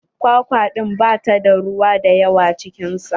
Kwakwa ɗin ba ta da ruwa da yawa cikin sa.